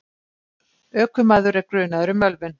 Ökumaður er grunaður um ölvun.